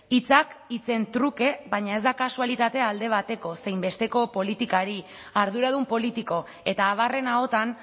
hitzak hitzen truke baina ez da kasualitatea alde bateko zein besteko politikari arduradun politiko eta abarren ahotan